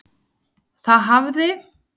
Það hafði